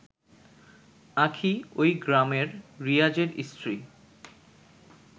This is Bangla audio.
আঁখি ওই গ্রামের রিয়াজের স্ত্রী